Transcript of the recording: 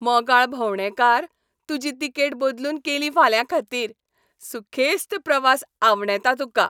मोगाळ भोवंडेकार, तुजी तिकेट बदलून केली फाल्यांखातीर. सुखेस्त प्रवास आवंडेतां तुका.